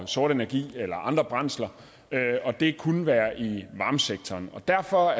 sort energi eller andre brændsler det kunne være i varmesektoren derfor